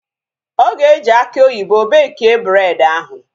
Ọ ga-eji aki oyibo bekie bred ahu